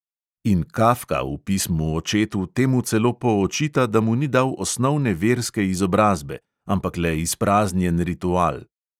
In kafka v pismu očetu temu celo poočita, da mu ni dal osnovne verske izobrazbe, ampak le izpraznjen ritual.